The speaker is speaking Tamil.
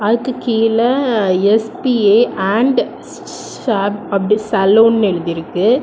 அதுக்கு கீழ எஸ்_பி_ஏ அண்ட் ஷாப் அப்டி சலூன்னு எழுதிருக்கு.